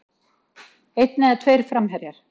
Einn eða tveir framherjar?